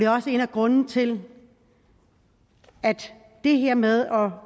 også en af grundene til at det her med at